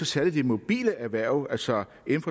særlig de mobile erhverv altså